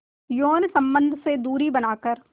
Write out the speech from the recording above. यौन संबंध से दूरी बनाकर